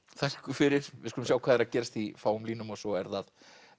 þakka ykkur fyrir við skulum sjá hvað er að gerast í fáum línum og svo er það